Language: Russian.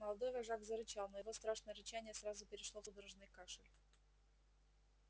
молодой вожак зарычал но его страшное рычание сразу перешло в судорожный кашель